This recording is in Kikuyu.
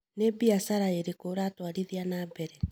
Nĩ biacara ĩrĩkũ ũratwarithia na mbere?